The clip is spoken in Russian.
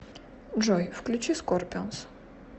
джой включи скорпионс